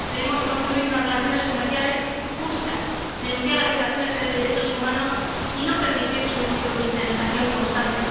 Debemos construir unas relaciones comerciales justas, denunciar las violaciones de derechos humanos y no permitir su instrumentalización constante.